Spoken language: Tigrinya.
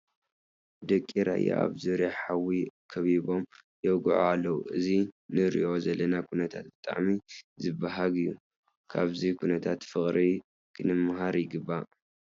ደቂ ራያ ኣብ ዙርያ ሓዊ ከቢቦም የውግዑ ኣለዉ፡፡ እዚ ንሪኦ ዘለና ኩነታቶም ብጣዕሚ ዝበሃግ እዩ፡፡ ካብዚ ኩነታት ፍቕሪ ክንምሃር ይግባእ፡፡